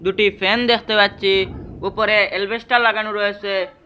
দুটি ফ্যান দেখতে পাচ্ছি উপরে এলবেস্টার লাগানো রয়েছে।